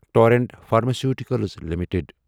torrent pharmaceuticals limited